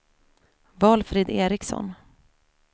Valfrid Ericsson